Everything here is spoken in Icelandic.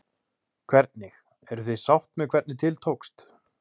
Hvernig, eruð þið sátt með hvernig til tókst?